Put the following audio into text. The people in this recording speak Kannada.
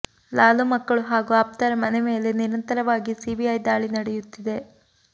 ಲಾಲೂ ಮಕ್ಕಳು ಹಾಗೂ ಆಪ್ತರ ಮನೆ ಮೇಲೆ ನಿರಂತರವಾಗಿ ಸಿಬಿಐ ದಾಳಿ ನಡೆಯುತ್ತಿದೆ